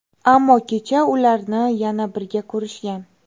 Ammo kecha ularni yana birga ko‘rishgan.